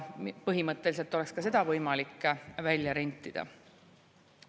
Põhimõtteliselt oleks ka seda võimalik välja rentida.